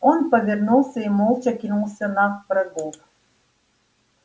он повернулся и молча кинулся на врагов